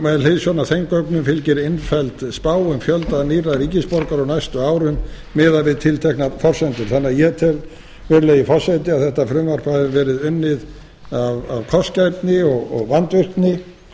með hliðsjón af þeim gögnum fylgir innfelld spá um fjölda nýrra ríkisborgara á næstu árum miðað við tilteknar forsendur þannig að ég tel virðulegi forseti að þetta fruvmarp hafi verið unnið af kostgæfni og vandvirkni